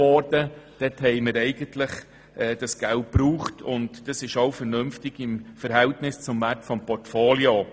Wir brauchten das Geld auf, und das ist auch vernünftig im Verhältnis zum Wert des Portfolios.